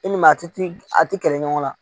I ni maa ti ti a ti kɛlɛ ɲɔgɔn na.